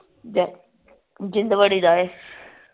ਜ ਜਿੰਦ ਵੜੀ ਦਾ ਏ